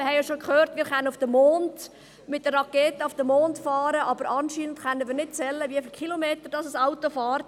Wir haben auch schon gehört, wir können mit einer Rakete auf den Mond fliegen, aber anscheinend können wir nicht zählen, wie viele Kilometer ein Auto fährt.